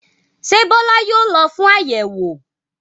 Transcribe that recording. Ṣé Bọ́lá yóò lọ fún àyẹ̀wò?